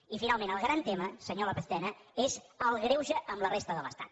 i finalment el gran tema senyor lópez tena és el greuge amb la resta de l’estat